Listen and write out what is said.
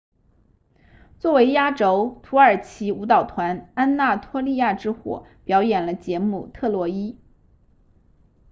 作为压轴土耳其舞蹈团安纳托利亚之火表演了节目特洛伊